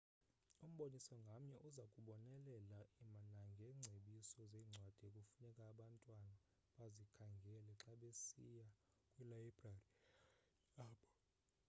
umboniso ngamnye uza kubonelela nangeengcebiso zeencwadi ekufuneka abantwana bazikhangele xa besiya kwilayibrari yabo